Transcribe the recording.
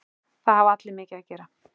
Það hafa allir mikið að gera.